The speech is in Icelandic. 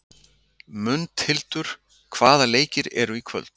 Mundhildur, hvaða leikir eru í kvöld?